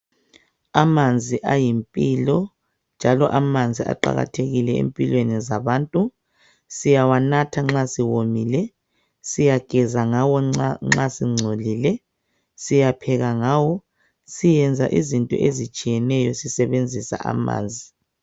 Amanzi ayimpilo njalo amanzi aqakathekile empilweni zabantu. Siyawanatha nxa siwomile, siyageza ngawo nxa singcolile, siyapheka ngawo. Siyenza izinto ezitshiyeneyo sisebenzisa amanzi.